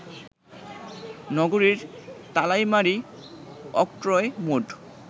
নগরীর Talaimari, octroi mode